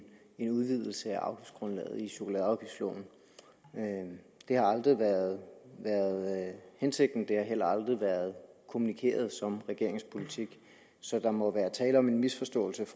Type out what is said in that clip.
en udvidelse af afgiftsgrundlaget i chokoladeafgiftsloven det har aldrig været hensigten og det har heller aldrig været kommunikeret som regeringens politik så der må være tale om en misforståelse